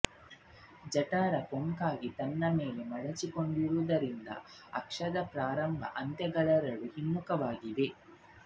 ಜಠರ ಕೊಂಕಾಗಿ ತನ್ನ ಮೇಲೇ ಮಡಚಿಕೊಂಡಿರುವುದರಿಂದ ಅಕ್ಷದ ಪ್ರಾರಂಭ ಅಂತ್ಯಗಳೆರಡೂ ಹಿಮ್ಮುಖವಾಗಿವೆ